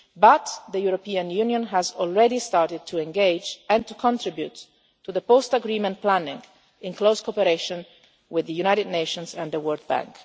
by day. But the European Union has already started to engage and to contribute to the post agreement planning, in close cooperation with the United Nations and the World